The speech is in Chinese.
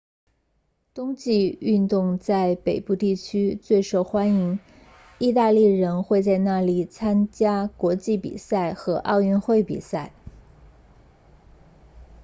冬季运动在北部地区最受欢迎意大利人会在那里参加国际比赛和奥运会比赛